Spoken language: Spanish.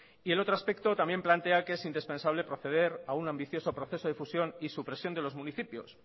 y el otro aspecto también plantea que es indispensable proceder a un ambicioso proceso de fusión y supresión de los municipios